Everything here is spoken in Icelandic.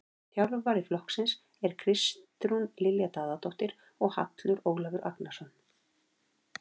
Þjálfara flokksins eru Kristrún Lilja Daðadóttir og Hallur Ólafur Agnarsson.